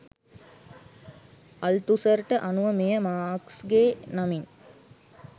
අල්තුසර්ට අනුව මෙය මාක්ස්ගේ නමින්